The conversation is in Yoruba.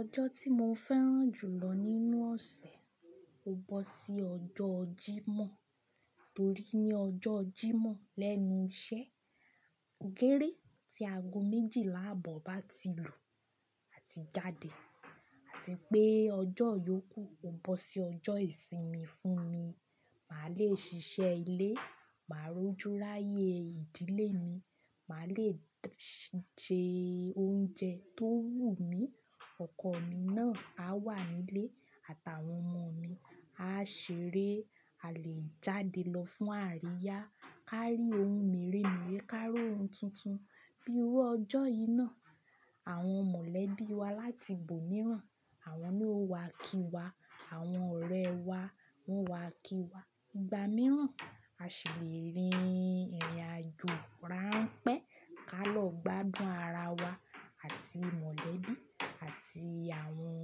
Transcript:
Ọjọ́ tí mo fẹ́ràn jùlọ nínú ọ̀sẹ̀ ò gbọ́ sí ọjọ́ jímọ̀ torí ní ọjọ́ jímọ̀ lẹ́nu iṣẹ́, gére tí aago méjìlá àbọ̀ bá ti lù á ti jáde àti pé ọjọ́ ìyókù ò gbọ́ sí ọjọ́ ìsinmi fún mi. Màá lè ṣiṣẹ́ ilé, màá rọ́júráyè ìdílé mi, màá lèse oúnjẹ tó wù mí, ọkọ mi náà á wà nílé àtàwọn ọmọ mi á ṣeré, a lè jáde lọ fún àríyá kárí ohun mèremère, kárí ohun tuntun. Bí i ó ọjọ́ yìí náà, àwọn mọ̀lẹ́bí wa láti ibòmíràn àwọn ni ó wá kí wa, àwọn ọ̀rẹ́ wá wowá kí wa. Ìgbà mìíràn a ṣi lerin ìrìnàjò ránpẹ́ ká lọ gbádùn ara wa àti mọ̀lẹ́bí àti àwọn